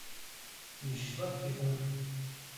вячеслав тихонов